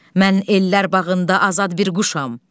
Mən ellər bağında azad bir quşam.